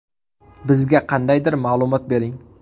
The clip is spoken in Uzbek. Bizga qandaydir ma’lumot bering!”.